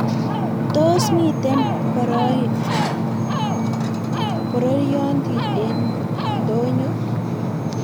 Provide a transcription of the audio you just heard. Tos miten B?rooyinto en Ntoony'o?